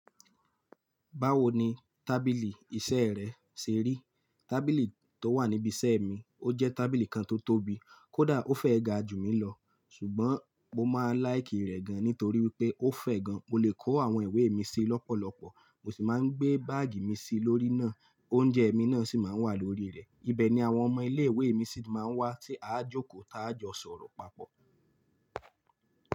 Báwo ni tábìlì iṣẹ́ rẹ ṣe rí? Tábìlì tó wà níbi iṣẹ́ mi ó jẹ́ tábìlì kan tó tóbi, kódà ó fẹ́ ga jù mí lọ, ṣùgbọ́n mo máa ń láìkì rẹ̀ gan nítorí wi pé ó fẹ́ gan, mo lè kó àwọn ìwé mi sí i lọ́pọ̀lọpọ̀, mo sì máa ń gbé báàgì mi sí i lórí náà, oúnjẹ mi náà sì máa ń wà lórí rẹ̀. Ibe ni àwọn ọmọ ilé ìwé mi sì máa ń wá tí a á jókòó tá a jọ sọ̀rọ̀ papọ̀.